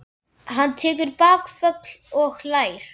Hann tekur bakföll og hlær.